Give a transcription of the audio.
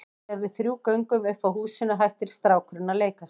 Þegar við þrjú göngum upp að húsinu hættir strákurinn að leika sér.